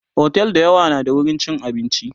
otel da yawa na da wurin chin abinci